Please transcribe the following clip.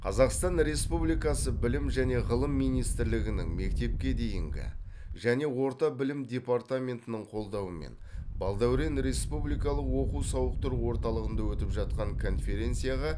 қазақстан республикасы білім және ғылым министрлігінің мектепке дейінгі және орта білім департаментінің қолдауымен балдәурен республикалық оқу сауықтыру орталығында өтіп жатқан конференцияға